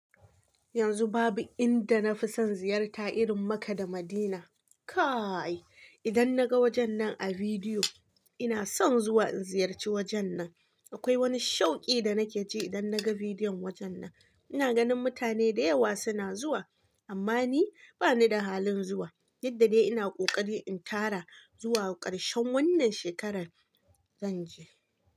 Yanzu babu inda na fi son ziyarta irin maka da Madina. Kaaaai idan naga wajen nan a vidiyo ina son zuwa in ziyarci wajen nan. Akwai wani shauke da nake ji idan naga vidiyon wajen nan. Ina ganin mutane da yawa suna zuwa amma ni bani da halin zuwa. Duk da dai ina kokari in tara zuwa ƙarshen wannan shekarar zan je.